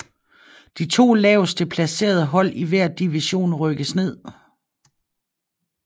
De to lavest placerede hold i hver division rykkes ned